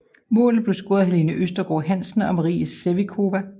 Målene blev scoret af Helene Østergaard Hansen og Maria Sevcikova